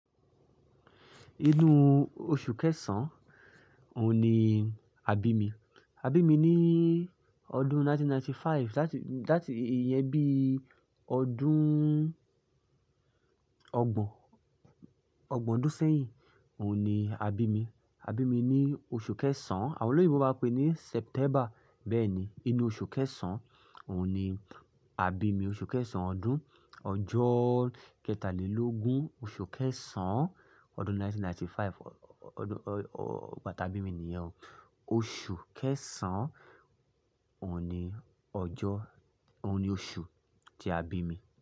Inú oṣù kẹsàn-án òun ni a bí mi. A bí mi ní ọdún 1995, láti, láti ìyẹn bí ọdún ọgbọ̀n, ọgbọ̀n ọdún sẹ́yìn òun ni a bí mi. A bí mi ní oṣù kẹsàn-án àwọn olóyínbó mi bá pé ní September bẹ́ẹ̀ni. Inú oṣù kẹsàn-án òun ni a bí mi. Oṣù kẹsàn-án ọdún-- ọjọ́ kẹtàlélógún oṣù kẹsàn-án ọdún 1995 ọdún ọ̀-ọ̀-ọ̀ bà tí a bí mi nìyẹn o. Oṣù kẹsàn-án òun ni ọjọ́, òun ni oṣù tí a bí mi.